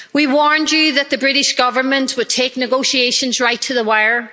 We warned you that the British Government would take negotiations right to the wire.